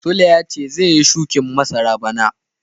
sule ya ce zai yi shukin masara bana.